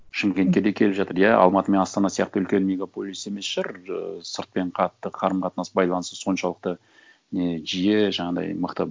шымкентке де келіп жатыр иә алматы мен астана сияқты үлкен мегаполис емес шығар ыыы сыртпен қатты қарым қатынас байланысы соншалықты не жиі жаңағындай мықты